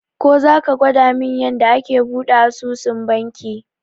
Ko zaka gwadamin yanda ake buɗe asusun banki?